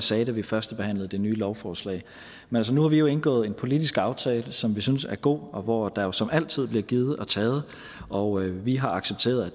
sagde da vi førstebehandlede det nye lovforslag men nu har vi jo indgået en politisk aftale som vi synes er god og hvor der jo som altid er blevet givet og taget og vi har accepteret at